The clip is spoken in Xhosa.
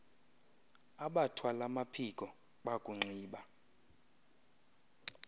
abathwal amaphiko bakunxiba